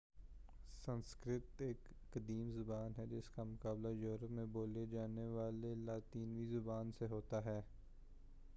سنسکرت ایک قدیم زبان ہے جس کا مقابلہ یورپ میں بولی جانے والی لاطینی زبان سے ہوتا ہے